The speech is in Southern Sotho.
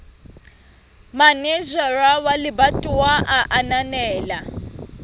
manejara wa lebatowa a ananela